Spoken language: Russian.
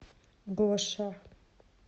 гоша